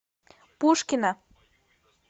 пушкино